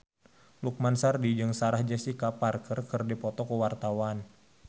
Lukman Sardi jeung Sarah Jessica Parker keur dipoto ku wartawan